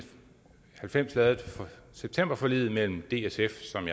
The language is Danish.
halvfems lavede septemberforliget mellem dsf som